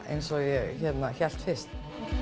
eins og ég hélt fyrst